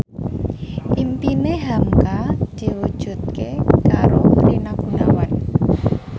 impine hamka diwujudke karo Rina Gunawan